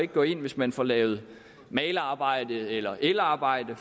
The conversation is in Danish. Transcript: gå ind hvis man får lavet malerarbejde eller elarbejde